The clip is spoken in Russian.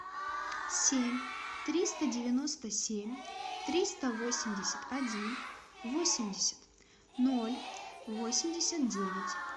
семь триста девяносто семь триста восемьдесят один восемьдесят ноль восемьдесят девять